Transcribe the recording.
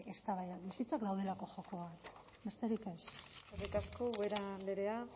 eztabaidak bizitzak daudelako jokoan besterik ez eskerrik asko ubera andrea